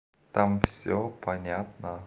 там всё понятно